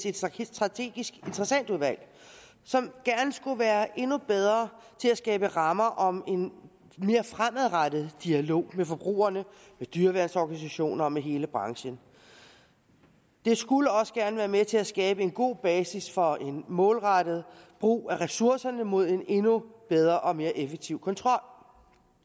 et strategisk interessentudvalg som gerne skulle være endnu bedre til at skabe rammer om en mere fremadrettet dialog med forbrugere med dyreværnsorganisationer og med hele branchen det skulle også gerne være med til at skabe en god basis for en målrettet brug af ressourcerne mod en endnu bedre og mere effektiv kontrol